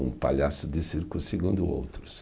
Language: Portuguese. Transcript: Um palhaço de circo, segundo outros.